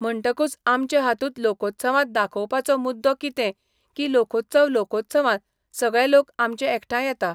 म्हणटकूच आमचे हातूंत लोकोत्सवांत दाखोवपाचो मुद्दो कितें की लोकोत्सव लोकोत्सवांत सगळे लोक आमचे एकठांय येता.